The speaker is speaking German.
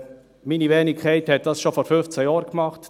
Meine Wenigkeit hat dies schon vor zwei Jahren gemacht;